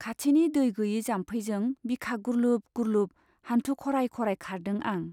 खाथिनि दै गैयै जाम्फैजों बिखा गुर्लुब गुर्लुब , हान्थु खराय खराय खारदों आं।